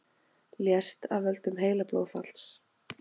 Lést af völdum heilablóðfalls